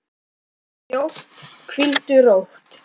Allt er hljótt, hvíldu rótt.